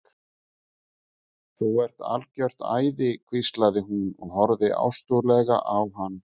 Þú ert algjört æði hvíslaði hún og horfði ástúðlega á hann.